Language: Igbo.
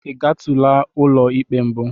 I gatụla ụlọ ikpe mbụ?